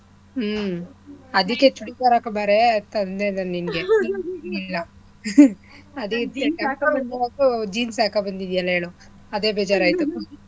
ಹ್ಮ್ ಅದಿಕ್ಕೆ ಚೂಡಿದಾರ್ ಹಾಕ್ಕೊಂಡ್ ಬಾರೇ ಅಂತ ಅಂದೆ ನಾನ್ ನೀನ್ಗೆ ಇಲ್ಲ ಅದಿಕ್ಕೆ jeans ಹಾಕ್ಕೋಬಂದೀಯಲ ಹೇಳು ಅದೇ ಬೇಜಾರಾಯ್ತು.